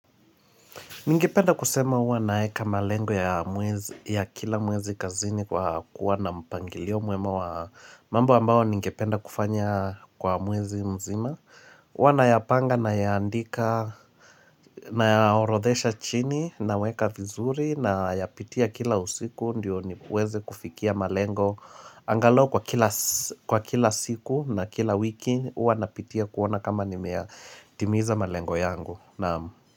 Ningependa kusema uwa naeka malengo ya kila mwezi kazini kwa kuwa na mpangilio mwema wa mambo ambayo ningependa kufanya kwa mwezi mzima. Uwa nayapanga, nayaandika nayaorodhesha chini, naweka vizuri nayapitia kila usiku ndio niweze kufikia malengo. Angalau kwa kila siku na kila wiki uwa napitia kuona kama nimeyatimiza malengo yangu.